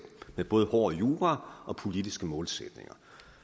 med både hård jura og politiske målsætninger